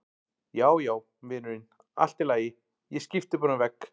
Já, já, vinurinn, allt í lagi, ég skipti bara um vegg.